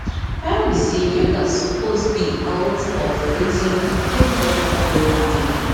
my own be say yoga supose be oart of wetin everybodi dey do everyday